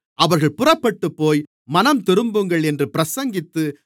அவர்கள் புறப்பட்டுப்போய் மனந்திரும்புங்கள் என்று பிரசங்கித்து